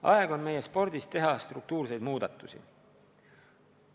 Aeg on meie spordis teha struktuurseid muudatusi.